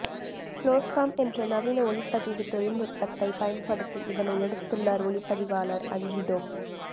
ப்ளோஸ்காம் என்ற நவீன ஒளிப்பதிவு தொழில்நுட்பத்தை பயன்படுத்தி இதனை எடுத்துள்ளார் ஒளிப்பதிவாளர் அஞ்சி டோப்